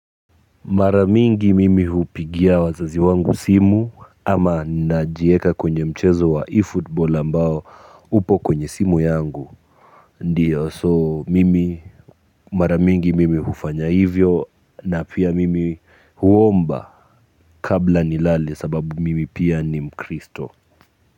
Mara mingi mimi hupigia wazazi wangu simu ama najieka kwenye mchezo wa ifootball ambao upo kwenye simu yangu ndiyo so mimi mara mingi mimi hufanya hivyo na pia mimi huomba kabla nilale sababu mimi pia ni mkristo kwa hivyo.